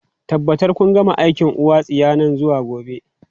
Tabbatar kun gama aikin uwa tsiya nan zuwa gobe!